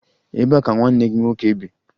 Ebee ka nwanne gị nwoke bi?